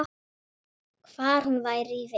Hvar hún væri í vist.